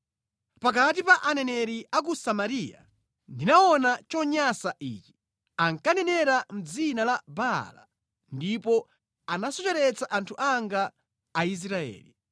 “Pakati pa aneneri a ku Samariya ndinaona chonyansa ichi: Ankanenera mʼdzina la Baala ndipo anasocheretsa anthu anga, Aisraeli.